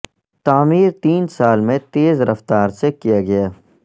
تعمیر تین سال میں تیز رفتار سے کیا گیا